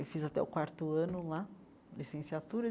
Eu fiz até o quarto ano lá, licenciatura.